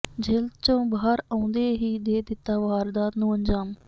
ਜੇਲ੍ਹ ਚੋਂ ਬਾਹਰ ਆਉਂਦੇ ਹੀ ਦੇ ਦਿੱਤਾ ਵਾਰਦਾਤ ਨੂੰੂ ਅੰਜਾਮ